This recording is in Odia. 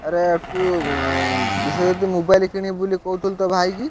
ଆରେ ତୁ ବିଶ୍ୱଜିତ୍ mobile କିଣିବୁ ବୋଲି କହୁଥିଲୁ ତୋ ଭାଇ କି।